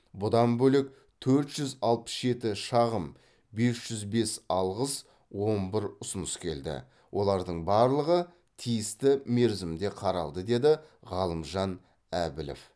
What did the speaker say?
бұдан бөлек төрт жүз алпыс жеті шағым бес жүз бес алғыс он бір ұсыныс келді олардың барлығы тиісті мерзімде қаралды деді ғалымжан әбілов